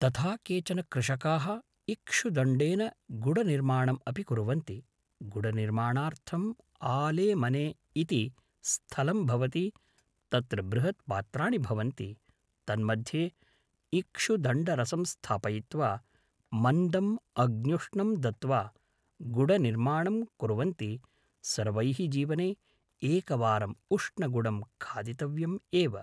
तथा केचन कृषकाः इक्षुदण्डेन गुढनिर्माणम् अपि कुर्वन्ति गुढनिर्माणार्थं आलेमने इति स्थलं भवति तत्र बृहत्पात्राणि भवन्ति तन्मध्ये इक्षुदण्डरसं स्थापयित्वा मन्दम् अग्न्युष्णं दत्वा गुढनिर्माणं कुर्वन्ति सर्वैः जीवने एकवारम् उष्णगुढं खादितव्यम् एव